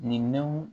Nin